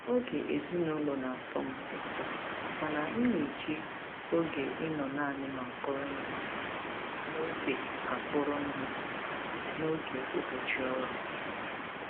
Oge ezinụlọ na-atọ m ụtọ mana m na-eji oge ịnọ naanị m akpọrọ ihe n'oge akpọrọ ihe n'oge ụbọchị ọrụ.